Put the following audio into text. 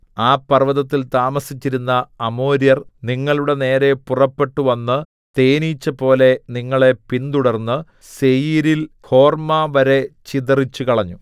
ആ പർവ്വതത്തിൽ താമസിച്ചിരുന്ന അമോര്യർ നിങ്ങളുടെനേരെ പുറപ്പെട്ടുവന്ന് തേനീച്ചപോലെ നിങ്ങളെ പിന്തുടർന്ന് സേയീരിൽ ഹോർമ്മവരെ ചിതറിച്ചുകളഞ്ഞു